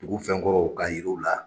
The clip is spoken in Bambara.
Dugu fɛn kɔrɔw k'a yiri u la.